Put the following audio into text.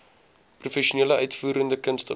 professionele uitvoerende kunstenaars